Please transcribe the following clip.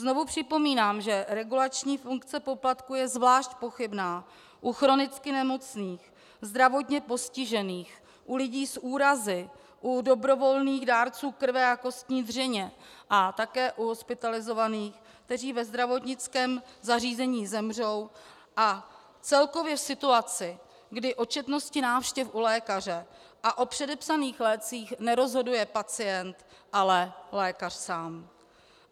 Znovu připomínám, že regulační funkce poplatků je zvlášť pochybná u chronicky nemocných, zdravotně postižených, u lidí s úrazy, u dobrovolných dárců krve a kostní dřeně a také u hospitalizovaných, kteří ve zdravotnickém zařízení zemřou, a celkově situaci, kdy o četnosti návštěv u lékaře a o předepsaných lécích nerozhoduje pacient, ale lékař sám.